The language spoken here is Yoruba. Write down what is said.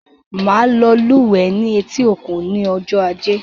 Màá lọ lúwẹ̀ẹ́ ní etí-òkun ní ọjọ́ Ajé.